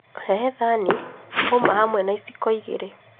Rehe thani, ũma hamwe na iciko igĩrĩ